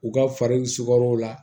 U ka farikaw la